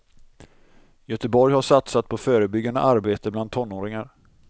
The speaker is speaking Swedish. Göteborg har satsat på förebyggande arbete bland tonåringar.